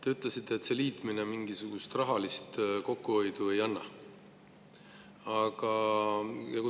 Te ütlesite, et see liitmine mingisugust rahalist kokkuhoidu ei anna.